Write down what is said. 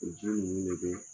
U ji koyi.